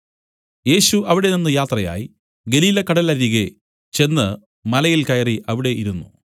യേശു അവിടെനിന്നു യാത്രയായി ഗലീലക്കടലരികെ ചെന്ന് മലയിൽ കയറി അവിടെ ഇരുന്നു